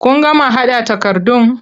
Kun gama haɗa takardun?